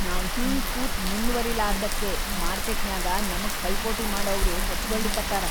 ನಾವ್‌ ಹಿಂಗ್‌ ಕೂತು ಮುಂದ್ವರಿಲಾರ್ದಕ್ಕೇ ಮಾರ್ಕೆಟ್‌ನ್ಯಾಗ ನಮಗ್‌ ಪೈಪೋಟಿ ಮಾಡವ್ರು ಹೆಚ್ಗೊಳಿಕತ್ತಾರ.